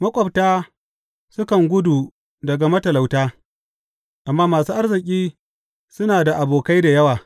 Maƙwabta sukan gudu daga matalauta, amma masu arziki suna da abokai da yawa.